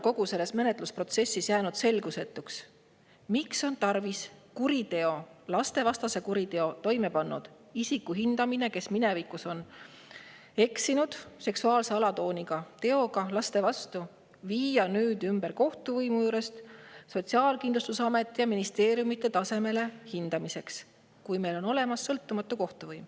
Kogu selle menetlusprotsessi käigus on jäänud mulle selgusetuks, miks on tarvis lastevastase kuriteo toime pannud isiku puhul – isiku puhul, kes on minevikus eksinud ja toime seksuaalse alatooniga teo laste vastu – viia hindamine kohtuvõimu juurest Sotsiaalkindlustusameti ja ministeeriumide tasemele, kui meil on olemas sõltumatu kohtuvõim.